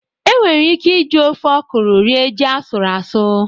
E nwere ike ị ji ofe ọkụrụ rie ji asụrụ asụ